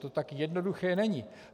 To tak jednoduché není.